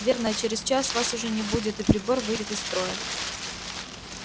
верно а через час вас уже не будет и прибор выйдет из строя